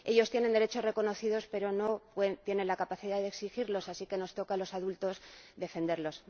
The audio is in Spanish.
Ellos tienen derechos reconocidos, pero no tienen la capacidad de exigirlos, así que nos toca a los adultos defenderlos.